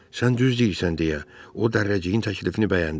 Sən düz deyirsən, deyə o Dərrəciyin təklifini bəyəndi.